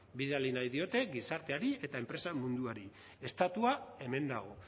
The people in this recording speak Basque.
bidali nahi diote gizarteari eta enpresa munduari estatua hemen dago